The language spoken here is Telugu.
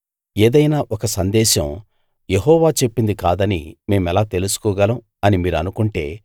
ఏదైనా ఒక సందేశం యెహోవా చెప్పింది కాదని మేమెలా తెలుసుకోగలం అని మీరనుకుంటే